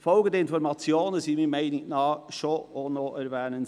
Folgende Informationen sind meiner Meinung nach doch erwähnenswert: